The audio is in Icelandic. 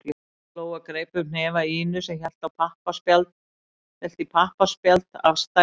Lóa greip um hnefa Ínu sem hélt í pappaspjald af stærðinni